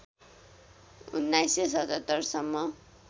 १९७७ सम्म